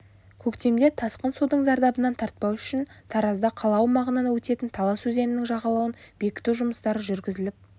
көктемде тасқын судың зардабын тартпау үшін таразда қала аумағынан өтетін талас өзенінің жағалауын бекіту жұмыстары жүргізіліп